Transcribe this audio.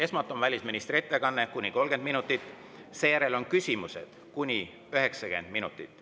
Esmalt on välisministri ettekanne kuni 30 minutit, seejärel on küsimused temale kuni 90 minutit.